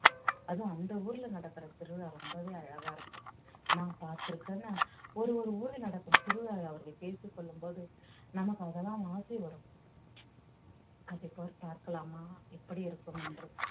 அதுவும் அந்த ஊர்ல நடக்கிற திருவிழா ரொம்பவே அழகா இருக்கும் நான் பார்த்திருக்கேன்னா ஒரு ஒரு ஊர்ல நடக்கும் திருவிழாவை அவர்கள் பேசிக் கொள்ளும் போது நமக்கு அதெல்லாம் ஆசை வரும் அதைப்போல் பார்க்கலாமா எப்படி இருக்கும் என்று